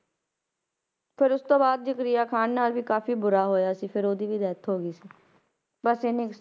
ਫਿਰ ਉਸ ਤੋਂ ਬਾਅਦ ਜ਼ਕਰੀਆ ਖ਼ਾਨ ਨਾਲ ਵੀ ਕਾਫ਼ੀ ਬੁਰਾ ਹੋਇਆ ਸੀ ਫਿਰ ਉਹਦੀ ਵੀ death ਹੋ ਗਈ ਸੀ ਬਸ ਇੰਨੀ ਕੁ